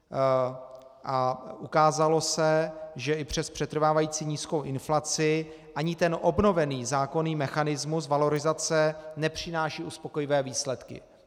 A ukázalo se, že i přes přetrvávající nízkou inflaci ani ten obnovený zákonný mechanismus valorizace nepřináší uspokojivé výsledky.